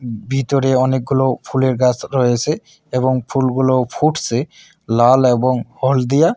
ভিতরে অনেকগুলো ফুলের গাছ রয়েছে এবং ফুলগুলো ফুটছে লাল এবং হলদিয়া।